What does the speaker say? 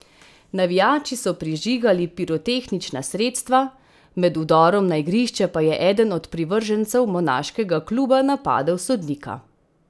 Navijači so prižigali pirotehnična sredstva, med vdorom na igrišče pa je eden od privržencev monaškega kluba napadel sodnika.